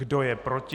Kdo je proti?